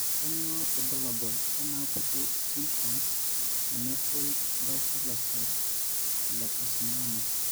Kainyio irbulabul onaapuku esindirom eNevoid basal ocell lecarcinom?